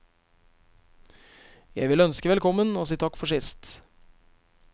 Jeg vil ønske velkommen og si takk for sist.